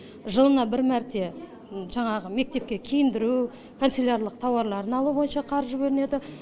жылына бір мәрте жаңағы мектепке киіндіру оқуға канцелярлық товарларын алу бойынша қаржы бөлінеді